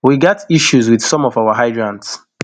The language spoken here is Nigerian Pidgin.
we gat issues wit some of our hydrants